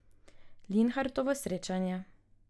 Linhartovo srečanje.